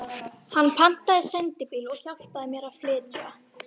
Hann pantaði sendibíl og hjálpaði mér að flytja.